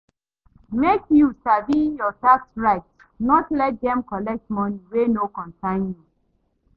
Make you sabi your tax rights, no let dem collect money wey no concern you.